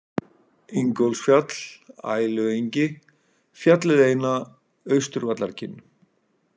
Ingólfsfjall, Æluengi, Fjallið eina, Austurvallarkinn